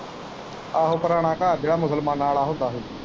ਆਹੋ ਪੁਰਾਣ ਘਰ ਜਿਹੜਾ ਮੁਸਲਮਾਨਾਂ ਵਾਲਾ ਹੁੰਦਾ ਹੀ।